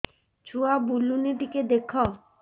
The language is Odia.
ଛୁଆ ବୁଲୁନି ଟିକେ ଦେଖ